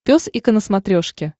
пес и ко на смотрешке